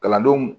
Kalandenw